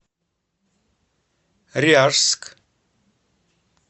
ряжск